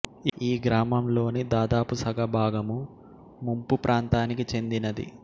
ఈ గ్రామం లోని దాదాపు సగ భాగము ముంపు ప్రాంతానికి చెందినది